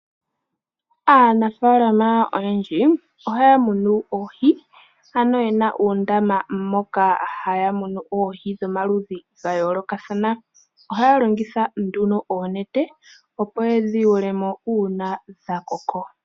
Aanafaalama oyendji ohaya munu oohi ano ye na uundama moka haya munu oohi dhomaludhi gayoolokathana. Ohaya longitha oonete opo yedhi yuule mo uuna dhakoko.